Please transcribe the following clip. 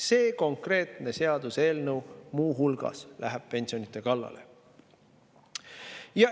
Selle konkreetse seaduseelnõu kohaselt minnakse muu hulgas pensionide kallale.